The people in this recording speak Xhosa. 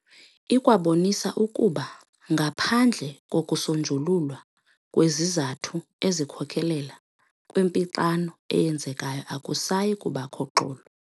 Ikwabonisa ukuba ngaphandle kokusonjululwa kwezizathu ezikhokelela kwimpixano eyenzekayo akusayi kubakho xolo.